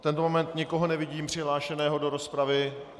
V tento moment nikoho nevidím přihlášeného do rozpravy.